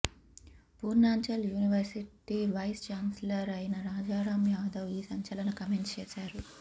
Purvanchal university vice chancellor అయిన రాజారాం యాదవ్ ఈ సంచలన కామెంట్స్ చేశారు